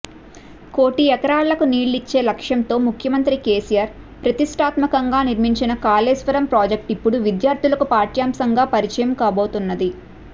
కోటి ఎకరాలకు నీళ్లిచ్చే లక్ష్యంతో ముఖ్యమంత్రి కేసీఆర్ ప్రతిష్ఠాత్మకంగా నిర్మించిన కాళేశ్వరం ప్రాజెక్టు ఇప్పుడు విద్యార్థులకు పాఠ్యాంశంగా పరిచయం కాబోతున్నది